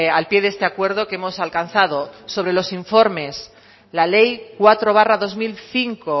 al píe de este acuerdo que hemos alcanzado sobre los informes la ley cuatro barra dos mil cinco